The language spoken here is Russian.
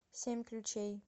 семь ключей